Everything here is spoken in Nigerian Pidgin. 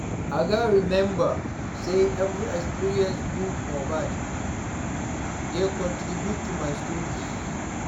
I gats remember say every experience, good or bad, dey contribute to my story.